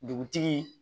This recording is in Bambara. Dugutigi